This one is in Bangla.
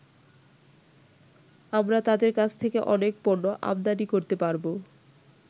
আমরা তাদের কাছ থেকে অনেক পণ্য আমদানি করতে পারবো।